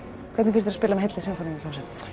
hvernig finnst þér að spila með heilli sinfoníuhljómsveit